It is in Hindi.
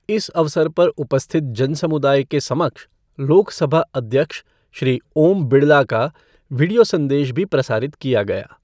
इस अवसर पर उपस्थित जन समुदाय के समक्ष लोक सभा अध्यक्ष श्री ओम बिड़ला का वीडियो संदेश भी प्रसारित किया गया।